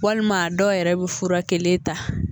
Walima dɔw yɛrɛ be fura kelen ta